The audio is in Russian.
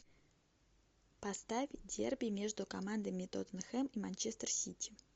поставь дерби между командами тоттенхэм и манчестер сити